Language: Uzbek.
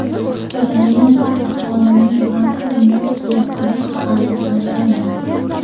Ukrainada aholini vaksinatsiya qilish hali boshlanmadi.